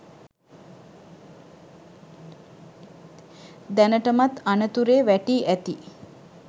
දැනටමත් අනතුරරේ වැටී ඇති